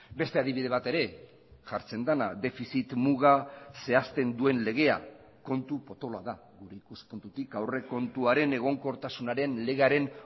beste adibide bat ere jartzen dena defizit muga zehazten duen legea kontu potoloa da gure ikuspuntutik aurrekontuaren egonkortasunaren legearen